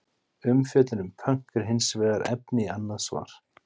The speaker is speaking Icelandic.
Umfjöllun um pönk er hins vegar efni í annað svar!